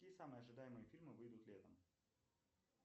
какие самые ожидаемые фильмы выйдут летом